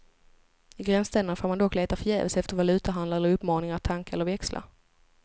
I gränsstäderna får man dock leta förgäves efter valutahandlare eller uppmaningar att tanka eller växla.